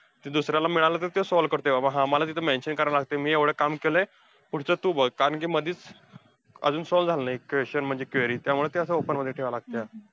दुसऱ्याला मिळालं तर त्यो solve करतोय बाबा हा, मला तिथं mention करावं लागतंय मी एवढं काम केलंय, पुढचं तू बघ कारण कि मधीच अजून solve झालेलं नाही question म्हणजे query. त्यामुळं ते असं open मध्ये ठेवायला लागतंया.